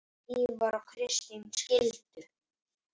Ívar og Kristín skildu.